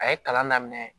A ye kalan daminɛ